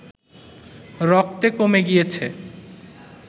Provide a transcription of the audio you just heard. রক্তে কমে গিয়েছে